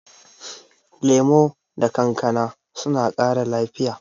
Lemu da kankana suna ƙara lafiya.